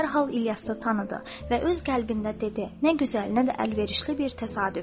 O dərhal İlyası tanıdı və öz qəlbində dedi: Nə gözəl, nə də əlverişli bir təsadüf.